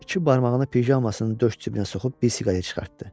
İki barmağını pijamasının döş cibinə soxub bir siqaret çıxartdı.